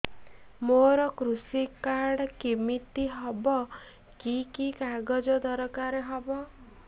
ମୋର କୃଷି କାର୍ଡ କିମିତି ହବ କି କି କାଗଜ ଦରକାର ହବ